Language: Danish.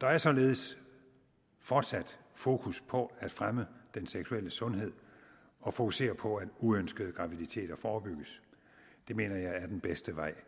der er således fortsat fokus på at fremme den seksuelle sundhed og fokusere på at uønskede graviditeter forebygges det mener jeg er den bedste vej